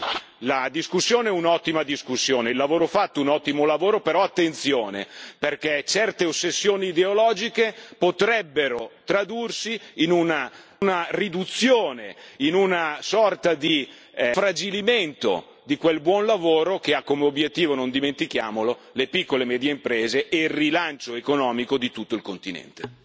Quindi la discussione è un'ottima discussione, il lavoro fatto è un ottimo lavoro, però attenzione perché certe ossessioni ideologiche potrebbero tradursi in una riduzione, in una sorta di infragilimento di quel buon lavoro che ha come obiettivo, non dimentichiamolo, le piccole e medie imprese e il rilancio economico di tutto il continente.